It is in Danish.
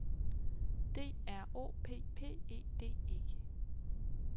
D R O P P E D E